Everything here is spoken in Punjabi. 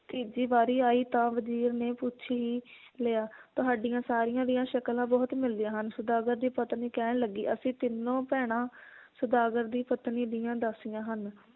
ਤੀਜੀ ਵਾਰੀ ਆਈ ਤਾਂ ਵਜੀਰ ਨੇ ਪੁੱਛ ਹੀ ਲਿਆ ਤੁਹਾਡੀਆਂ ਸਾਰੀਆਂ ਦੀਆਂ ਸ਼ਕਲਾਂ ਬਹੁਤ ਮਿਲਦੀਆਂ ਹਨ ਸੌਦਾਗਰ ਦੀ ਪਤਨੀ ਕਹਿਣ ਲੱਗੀ ਅਸੀਂ ਤਿੰਨੋਂ ਭੈਣਾਂ ਸੌਦਾਗਰ ਦੀ ਪਤਨੀ ਦੀਆਂ ਦਾਸੀਆਂ ਹਨ